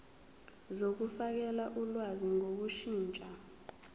zokufakela ulwazi ngokushintsha